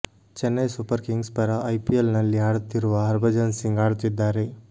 Chennai Super Kings ಪರ IPL ನಲ್ಲಿ ಆಡುತ್ತಿರುವ ಹರ್ಭಜನ್ ಸಿಂಗ್ ಆಡುತ್ತಿದ್ದಾರೆ